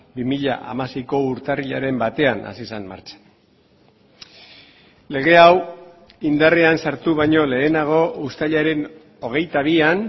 bi mila hamaseiko urtarrilaren batean hasi zen martxan lege hau indarrean sartu baino lehenago uztailaren hogeita bian